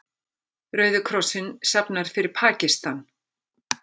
Rauði krossinn safnar fyrir Pakistan